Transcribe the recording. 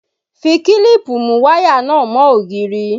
Fi kílípù mú wáyà náà mọ́ òògiri!